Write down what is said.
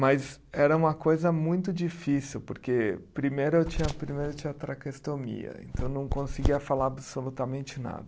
Mas era uma coisa muito difícil, porque primeiro eu tinha, primeiro eu tinha a traqueostomia, então não conseguia falar absolutamente nada.